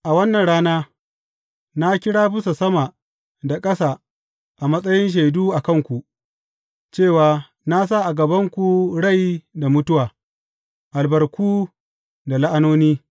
A wannan rana na kira bisa sama da ƙasa a matsayin shaidu a kanku, cewa na sa a gabanku rai da mutuwa, albarku da la’anoni.